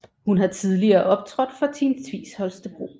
Hun har tidligere optrådt for Team Tvis Holstebro